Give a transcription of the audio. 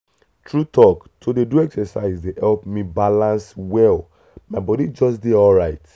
true talk to dey do exercise dey help me balance well my body just dey alright.